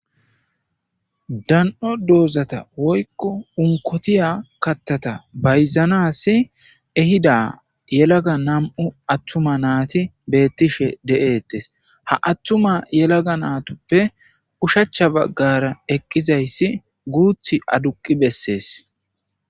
dan7o doozata woykko unkotiya kattata bayzanas ehida yelaga nam7u attuma naati beettishe de7ettes ha attuma yelaga naatoppe ushacha baggara eqqizayssi guuth aduqi bessees